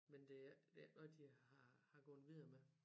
Men det er ikke det er ikke noget de har har gået videre med